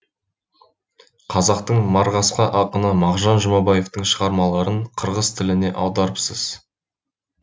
қазақтың марғасқа ақыны мағжан жұмабаевтың шығармаларын қырғыз тіліне аударыпсыз